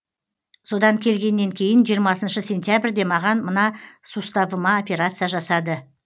содан келгеннен кейін жиырмасыншы сентябрьде маған мына суставыма операция жасады